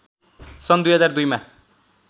सन् २००२ मा